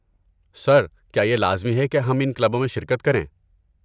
سر، کیا یہ لازمی ہے کہ ہم ان کلبوں میں شرکت کریں؟